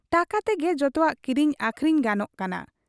ᱴᱟᱠᱟ ᱛᱮᱜᱮ ᱡᱚᱛᱚᱣᱟᱜ ᱠᱤᱨᱤᱧ ᱟᱹᱠᱷᱨᱤᱧ ᱜᱟᱱᱚᱜ ᱠᱟᱱᱟ ᱾